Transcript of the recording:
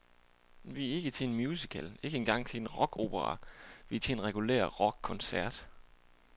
Vi er ikke til en musical, ikke engang til en rockopera, vi er til en regulær rockkoncert.